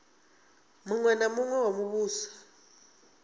muṅwe na muṅwe wa muvhuso